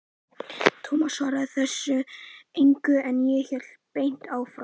Tómas svaraði þessu engu, en hélt beint áfram